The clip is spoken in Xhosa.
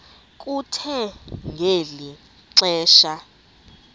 kuthe ngeli xesha